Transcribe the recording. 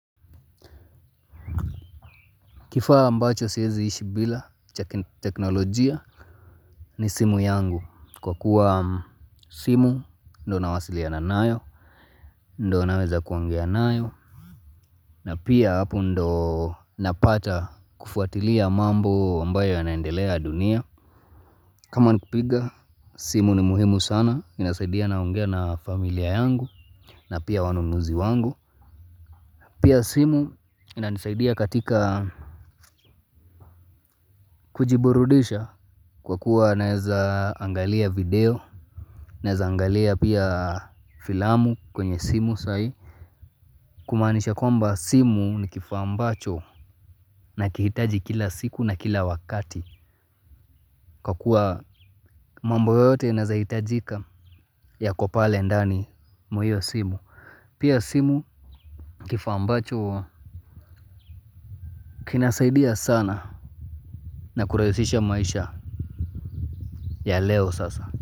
Kifaa ambacho siezishi bila cha teknolojia. Ni simu yangu kwa kuwa simu ndio nawasiliana nayo. Ndo naweza kuongea nayo. Na pia hapo ndio napata kufuatilia mambo ambayo yanaendelea dunia. Kama ni kupiga simu ni muhimu sana inasaidia naongea na familia yangu na pia wanunuzi wangu. Pia simu inanisaidia katika kujiburudisha. Kwa kuwa naezaangalia video, naezaangalia pia filamu kwenye simu sahi. Kumaanisha kwamba simu ni kifaa ambacho nakihitaji kila siku na kila wakati. Kwa kuwa mambo yote yanaezahitajika yako pale ndani mwa hio simu. Pia simu kifaa ambacho kinasaidia sana na kurahisisha maisha ya leo sasa.